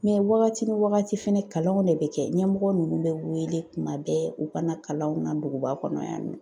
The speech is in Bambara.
wagati ni wagati fɛnɛ, kalanw de bɛ kɛ , ɲɛmɔgɔ nunnu bɛ wele kuma bɛɛ u ka na kalanw na duguba kɔnɔ yan nɔ.